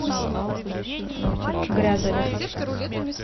грязовец